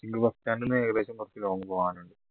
ഏകദേശം കുറച്ചു long പോകാനുണ്ട്